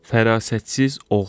Fərasətsiz oğul.